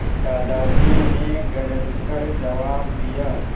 दादाजी ने गरज कर जवाब दिया